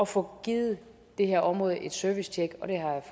få givet det her område et servicetjek